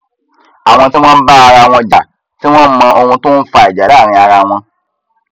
àwọn tí wọn ń bá ara wọn jà tí wọn mọ ohun tó ń fa ìjà láàrin ara wọn